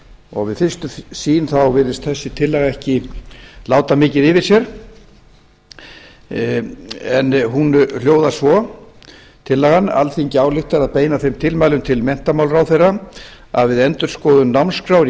og við fyrstu sýn þá virðist þessi tillaga ekki láta mikið yfir sér en hún hljóðar svo tillagan alþingi ályktar að beina þeim tilmælum til menntamálaráðherra að við endurskoðun námskrár í